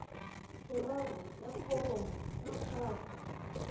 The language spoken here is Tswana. boraro ya foromo ya gago